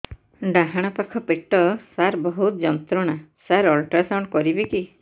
ଡାହାଣ ପାଖ ପେଟ ସାର ବହୁତ ଯନ୍ତ୍ରଣା ସାର ଅଲଟ୍ରାସାଉଣ୍ଡ କରିବି କି